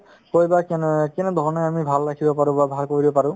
সেই বা কেনে অ কেনেধৰণে আমি ভাল ৰাখিব পাৰো বা ভাল কৰিব পাৰো